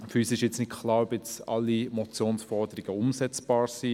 Uns ist nicht klar, ob alle Forderungen der Motion umsetzbar sind.